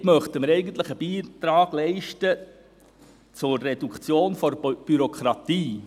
Damit möchten wir eigentlich einen Beitrag leisten zur Reduktion der Bürokratie.